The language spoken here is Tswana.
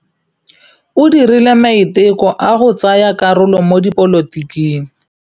O dirile maitekô a go tsaya karolo mo dipolotiking.